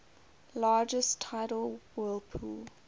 largest tidal whirlpool